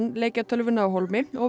leikjatölvuna af hólmi og